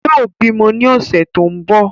Yóò bímọ ní ọ̀sẹ̀ tó ń bọ̀